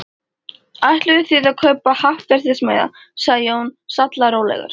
Ætluðuð þið að kaupa happdrættismiða? sagði Jón, sallarólegur.